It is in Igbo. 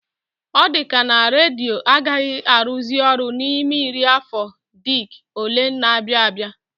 Ọ dịka na redio agaghị arụzị ọrụ n'ime iri afọ diked ole na-abịa abịa